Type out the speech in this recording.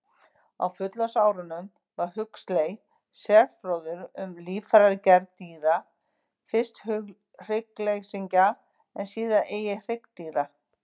Á fullorðinsárum varð Huxley sérfróður um líffæragerð dýra, fyrst hryggleysingja en síðar einnig hryggdýra.